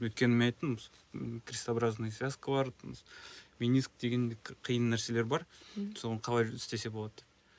өйткені мен айттым крестообразный связка бар мениск деген қиын нәрселер бар соны қалай істесе болады деп